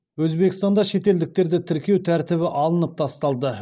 өзбекстанда шетелдіктерді тіркеу тәртібі алынып тасталды